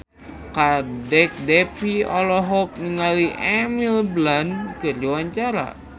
Kadek Devi olohok ningali Emily Blunt keur diwawancara